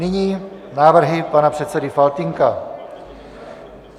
Nyní návrhy pana předsedy Faltýnka.